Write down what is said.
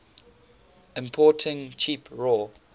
importing cheap raw